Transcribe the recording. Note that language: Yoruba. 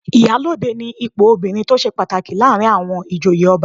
Ìyálóde ni ipò obìnrin tó ṣe pàtàkì láàrin àwọn ìjòyè ọba